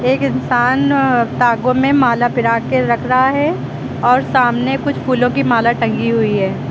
एक इंसान धागों में माला पिरा के रख रहा है और सामने कुछ फूलों की माला टंगी हुई है।